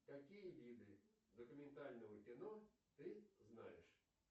какие виды документального кино ты знаешь